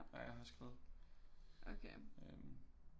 Ja jeg har skrevet øh